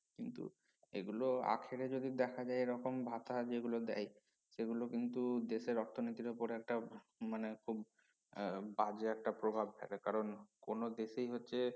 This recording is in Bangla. কিন্তু এগুলো আখেরে যদি দেখা যায় এরকম ভাতা যেগুলো দেয় সেগুলো কিন্তু দেশের অর্থনীতির উপরে একটা মানে খুব আহ বাজে একটা প্রভাব ফেলে কারন কোনো দেশেই হচ্ছে